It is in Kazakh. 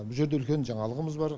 бұ жерде үлкен жаңалығымыз бар